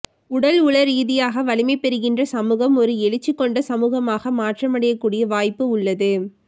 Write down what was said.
உடல் உள ரீதியாக வலிமை பெறுகின்ற சமூகம் ஒரு எழுச்சி கொண்ட சமூகமாக மாற்றமடையக்கூடிய வாய்ப்பு உள்ளது